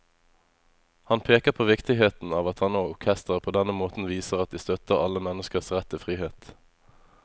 Han peker på viktigheten av at han og orkesteret på denne måten viser at de støtter alle menneskers rett til frihet.